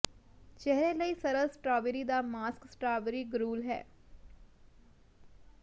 ਚਿਹਰੇ ਲਈ ਸਰਲ ਸਟ੍ਰਾਬੇਰੀ ਦਾ ਮਾਸਕ ਸਟਰਾਬਰੀ ਗਰੂਲ ਹੈ